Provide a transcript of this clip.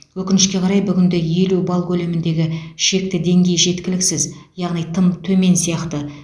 өкінішке қарай бүгінде елу балл көлеміндегі шекті деңгей жеткіліксіз яғни тым төмен сияқты